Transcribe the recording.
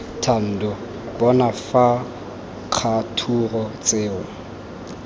thando bona fa kgature tseo